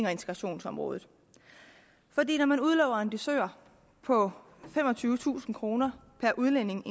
og integrationsområdet når man udlover en dusør på femogtyvetusind kroner per udlænding